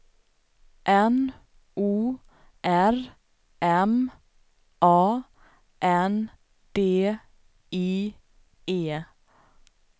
N O R M A N D I E